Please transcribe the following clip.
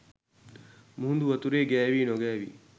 මුහුදු වතුරේ ගෑවී නොගෑවී